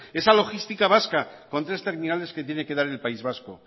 esa logística vasca con tres terminales que tiene que dar el país vasco